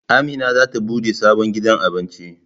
Amina zata bude sabon gidan Abinci